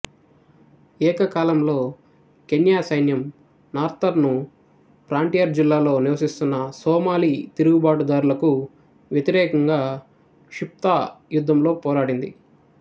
ఏకకాలంలో కెన్యా సైన్యం northern frontier జిల్లాలో నివసిస్తున్న సోమాలి తిరుగుబాటుదారులకు వ్యతిరేకంగా షిఫ్తా యుద్ధంతో పోరాడింది